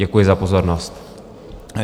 Děkuji za pozornost.